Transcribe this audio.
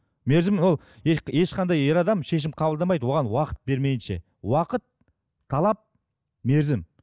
мерзім ол ешқандай ер адам шешім қабылдамайды оған уақыт бермейінше уақыт талап мерзім